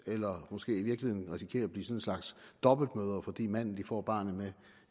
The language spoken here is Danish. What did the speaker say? eller måske i virkeligheden risikerer at blive en slags dobbeltmødre fordi manden de får barnet med